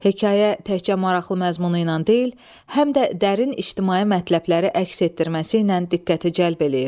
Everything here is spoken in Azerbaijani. Hekayə təkcə maraqlı məzmunu ilə deyil, həm də dərin ictimai mətləbləri əks etdirməsi ilə diqqəti cəlb eləyir.